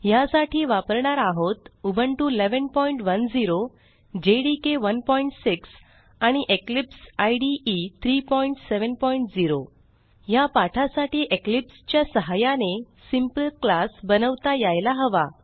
ह्यासाठी वापरणार आहोत उबुंटू 1110 जेडीके 16 आणि इक्लिप्स इदे 370 ह्या पाठासाठी इक्लिप्स च्या सहाय्याने सिंपल क्लास बनवता यायला हवा